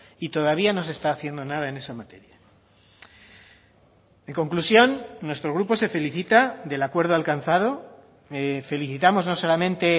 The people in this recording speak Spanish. y todavía no se está haciendo nada en esa materia en conclusión nuestro grupo se felicita del acuerdo alcanzado felicitamos no solamente